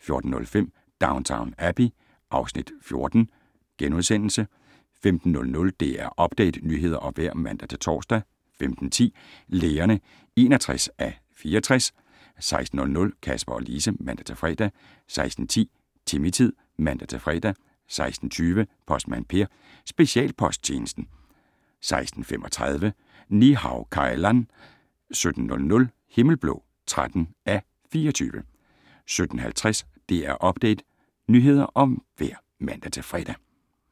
14:05: Downton Abbey (Afs. 14)* 15:00: DR Update - nyheder og vejr (man-tor) 15:10: Lægerne (61:64) 16:00: Kasper og Lise (man-fre) 16:10: Timmy-tid (man-fre) 16:20: Postmand Per: Specialposttjenesten 16:35: Ni-Hao Kai Lan 17:00: Himmelblå (13:24) 17:50: DR Update - nyheder og vejr (man-fre)